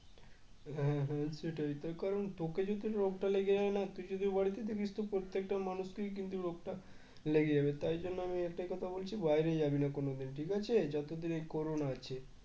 হ্যাঁ হ্যাঁ সেটাই তার কারণ তোকে যদি রোগটা লেগে যায় না তুই যদি ও বাড়িতে থাকিস তো প্রত্যেকটা মানুষকে কিন্তু লোকটা লেগে যাবে তাই জন্য আমি একটাই কথা বলছি বাইরে যাবি না কোনদিন ঠিক আছে যতদিন এই করোনা আছে